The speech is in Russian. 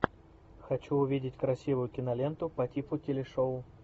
хочу увидеть красивую киноленту по типу телешоу